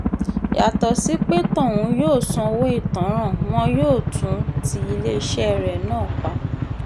yàtọ̀ sí pé tọ̀hún yóò sanwó ìtanràn wọn yóò tún ti iléeṣẹ́ rẹ náà pa